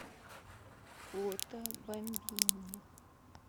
фото бамбини